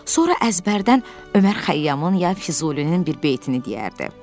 Sonra əzbərdən Ömər Xəyyamın ya Füzulinin bir beytini deyərdi.